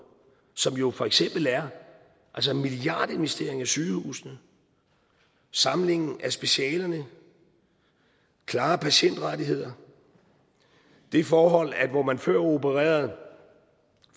som jo for eksempel er milliardinvesteringer i sygehusene samlingen af specialerne klare patientrettigheder det forhold at hvor man før opererede